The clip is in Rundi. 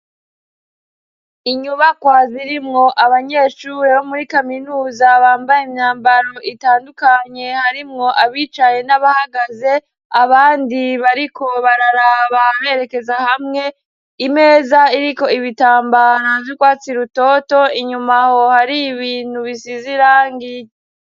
Inyubakwa zirimwo abanyeshure bo muri kaminuza bambaye imyambaro itandukanye harimwo abicaye n'abahagaze abandi bariko bararaba berekeza hamwe imeza iriko ibitambaro vy'ugwatsi rutoto inyumaho har'ibintu bisiz'irangi